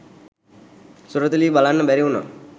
සුරතලී බලන්න බැරිවුනා.